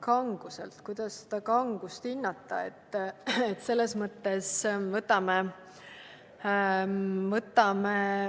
Kanguselt – kuidas seda kangust hinnata?